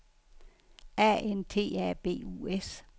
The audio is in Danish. A N T A B U S